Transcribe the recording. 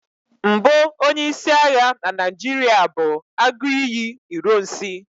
mbụ onye-isi agha na Naijiria bụ Aguiyi ironsi